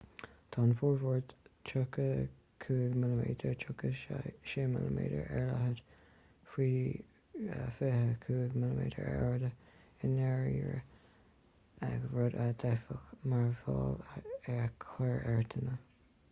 tá an formáid 35 mm 36 mm ar leithead faoi 24 mm ar airde i ndáiríre rud a d'fhéadfadh mearbhall a chur ar dhuine